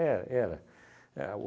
era. A